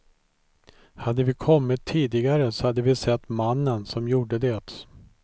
Hade vi kommit tidigare så hade vi sett mannen som gjorde det.